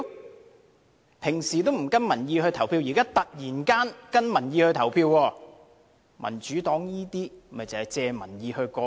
他們平時不跟民意投票，現在突然間跟從民意投票，民主黨這做法是藉民意"過橋"。